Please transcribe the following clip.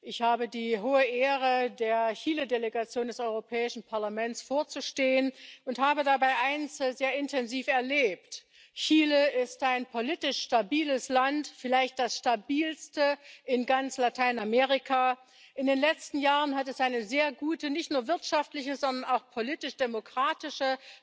Ich habe die große Ehre, der Chile Delegation des Europäischen Parlaments vorzustehen, und habe dabei eines sehr intensiv erlebt Chile ist ein politisch stabiles Land, vielleicht das stabilste in ganz Lateinamerika. In den letzten Jahren hat es eine sehr gute, nicht nur wirtschaftliche, sondern auch politisch demokratische